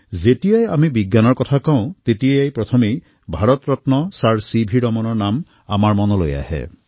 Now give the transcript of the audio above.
যেতিয়া আমি বিজ্ঞানৰ কথা কওঁ তেতিয়া সকলোতকৈ প্ৰথমে Bharat Ratna sir C V ৰমণৰ নাম আমাৰ সন্মুখলৈ আহে